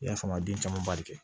I y'a faamu a den caman bali